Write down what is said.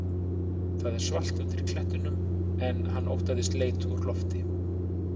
Það var svalt undir klettunum en hann óttaðist leit úr lofti.